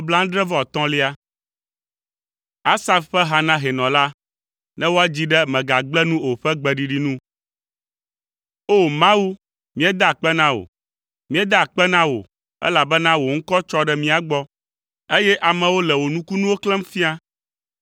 Asaf ƒe ha na hɛnɔ la, ne woadzii ɖe “Mègagblẽ nu o” ƒe gbeɖiɖi nu. O! Mawu, míeda akpe na wò, míeda akpe na wò, elabena wò ŋkɔ tsɔ ɖe mía gbɔ, eye amewo le wò nukunuwo xlẽm fia.